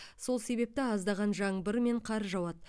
сол себепті аздаған жаңбыр мен қар жауады